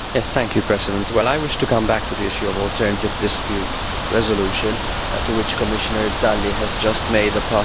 I wish to come back to the issue of alternative dispute resolution, to which Commissioner Dalli just made a passing reference.